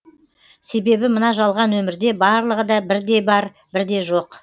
себебі мына жалған өмірде барлығыда бірде бар бірде жоқ